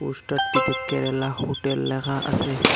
Poster টিতে Kerala hotel ল্যাখা আসে।